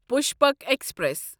Pushpak express